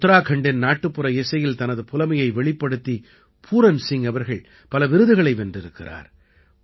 உத்தராக்கண்டின் நாட்டுப்புற இசையில் தனது புலமையை வெளிப்படுத்தி பூரன் சிங் அவர்கள் பல விருதுகளை வென்றிருக்கிறார்